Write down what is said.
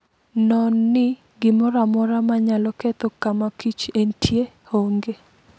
Non ni gimoro amora manyalo ketho kama kich entie honge.